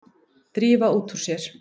Drífa út úr sér.